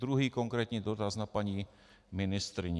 Druhý konkrétní dotaz na paní ministryni.